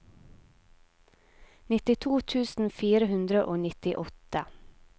nittito tusen fire hundre og nittiåtte